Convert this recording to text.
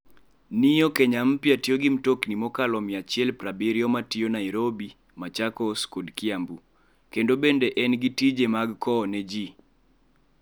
Neo Kenya Mpya tiyo gi mtokni mokalo 170 ma tiyo Nairobi, Machakos kod Kiambu, kendo bende en gi tije mag kowo ne ji.